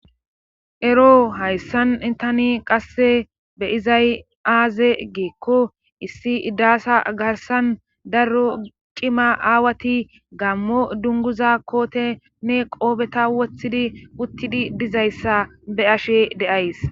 Ero hayssan intani qasse beyizay aaze geekko issi iddaasa garsan darro cima aawati gammo dunguza kootenne qoobeta woththidi uttidi dizayssa be ashe de7ays